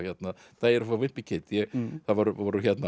það voru voru